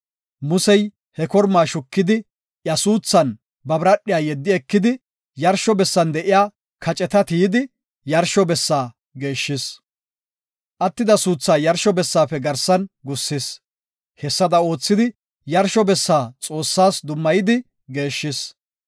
Musey he kormaa shukidi iya suuthan ba biradhiya yeddi ekidi, yarsho bessan de7iya kaceta tiyidi yarsho bessa geeshshis. Attida suuthaa yarsho bessaafe garsan gussis; hessada oothidi yarsho bessa Xoossas dummayidi geeshshis.